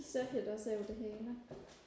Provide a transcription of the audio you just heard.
det søger det også over det hele